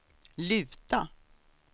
luta